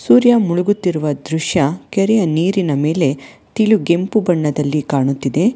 ಸೂರ್ಯ ಮುಳುಗುತ್ತಿರುವ ದೃಶ್ಯ ಕೆರೆಯ ನೀರಿನ ಮೇಲೆ ತಿಳು ಕೆಂಪು ಬಣ್ಣದಲ್ಲಿ ಕಾಣುತ್ತಿದೆ.